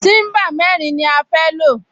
Tíḿbà mẹ́rin ni a fẹ́ lò